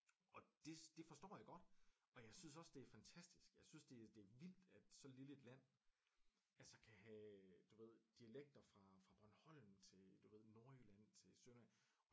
Og det det forstår jeg godt og jeg synes også det er fantastisk jeg synes det det er vildt at så lille et land altså kan have du ved dialekter fra fra Bornholm til du ved Nordjylland til Sønderjylland